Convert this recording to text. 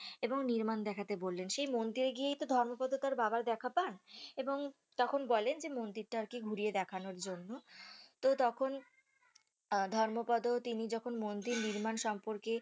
এবং নির্মাণ দেখতে বললেন সেই মন্দিরে গিয়েই তো ধর্মপদ তার বাবার দেখা পান এবং তখন বলেন যে মন্দিরটা আরকি ঘুরিয়ে দেখানোর জন্য তো তখন আহ ধর্মপদ তিনি যখন মন্দির নির্মাণ সম্পর্কে